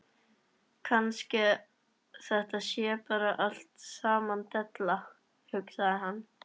Kannski þetta sé bara allt saman della, hugsaði hann.